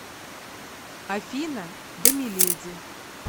афина да миледи